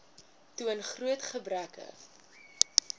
toon groot gebreke